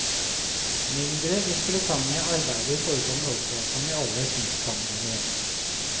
Mindre interessante arbeider forekommer også, som i alle kunstsamlinger.